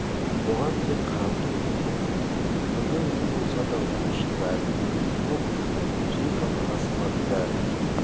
оған тек қарап тұру міндет кімнің үйі болса да ол үшін бәрібір мұп-мұздай музей қабырғасы ма бәрібір